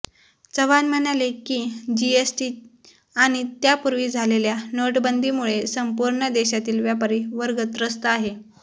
चव्हाण म्हणाले की जीएसटी आणि त्यापूर्वी झालेल्या नोटबंदीमुळे संपूर्ण देशातील व्यापारी वर्ग त्रस्त आहे